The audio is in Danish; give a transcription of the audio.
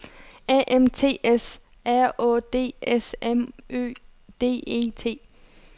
A M T S R Å D S M Ø D E T